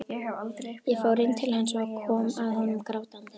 Ég fór inn til hans og kom að honum grátandi.